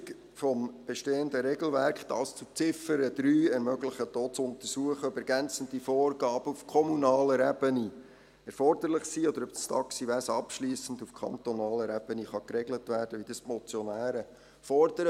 Eine Prüfung des bestehenden Regelwerks – dies zu Ziffer 3 – ermöglicht auch zu untersuchen, ob ergänzende Vorgaben auf kommunaler Ebene erforderlich sind oder ob das Taxiwesen abschliessend auf kantonaler Ebene geregelt werden kann, wie die Motionäre fordern.